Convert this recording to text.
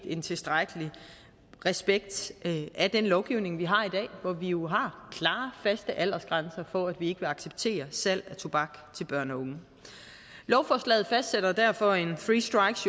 en tilstrækkelig respekt af den lovgivning vi har i dag hvor vi jo har klare faste aldersgrænser for at vi ikke vil acceptere salg af tobak til børn og unge lovforslaget fastsætter derfor en three strikes